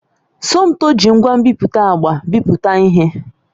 Somtoo ji ngwa nbipute agba bipụta ihe.